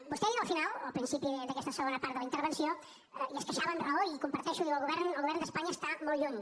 vostè ha dit al final o al principi d’aquesta segona part de la intervenció i es queixava amb raó i ho comparteixo i diu el govern d’espanya està molt lluny